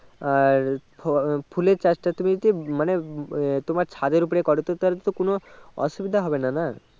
আর ফল ফুলের চাষ টা তুমি যদি মানে আহ তোমার ছাদের ওপরে করো তাহলে তো কোনো অসুবিধা হবেনা না